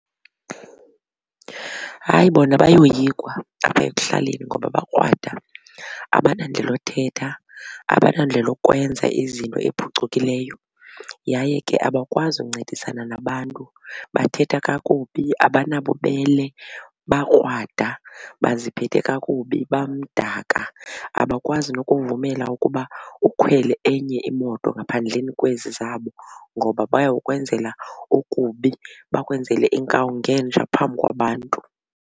Hayi, bona bayoyikwa apha ekuhlaleni ngoba bakrwada abanandlela yothetha, abanandlela yokwenza izinto ephucukileyo yaye ke abakwazi ukuncedisana nabantu. Bathetha kakubi, abanabubele, bakrwada baziphethe kakubi, bamdaka abakwazi nokuvumela ukuba ukhwele enye imoto ngaphandleni kwezi zabo ngoba bayokwenzela okubi bakwenzele inkawu ngenja phambi kwabantu.